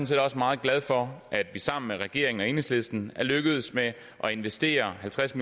set også meget glad for at vi sammen med regeringen og enhedslisten er lykkedes med at investere halvtreds